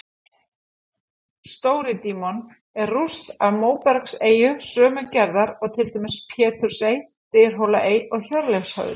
Stóri-Dímon er rúst af móbergseyju sömu gerðar og til dæmis Pétursey, Dyrhólaey og Hjörleifshöfði.